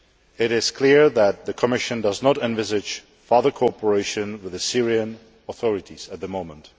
It is clear that the Commission does not envisage further cooperation with the Syrian authorities at the moment.